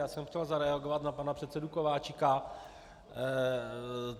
Já jsem chtěl zareagovat na pana předsedu Kováčika.